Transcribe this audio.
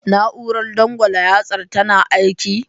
Na'urar dangwala yartsan tana aiki?